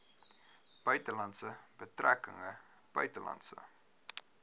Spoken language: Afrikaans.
buitelandse betrekkinge buitelandse